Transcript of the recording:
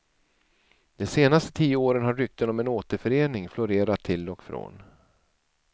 De senaste tio åren har rykten om en återförening florerat till och från.